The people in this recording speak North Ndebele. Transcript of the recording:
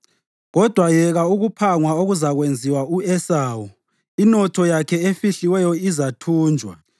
Kodwa yeka ukuphangwa okuzakwenziwa u-Esawu, inotho yakhe efihliweyo izathunjwa!